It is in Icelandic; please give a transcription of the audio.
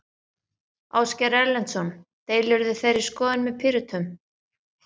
Ásgeir Erlendsson: Deilirðu þeirri skoðun með Pírötum?